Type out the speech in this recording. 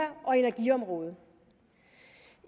og energiområdet